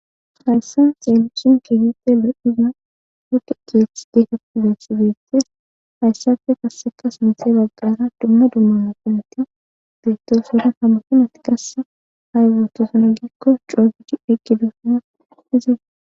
Hayssa xeelishin keehippe lo7iza huge geeth deeketi gessigeettes hayssafe kassekas mise baggara dumma dummana pinetti biittosota hammutumat kasse hay gutosuna gikko coogichi eqqi dusana ize.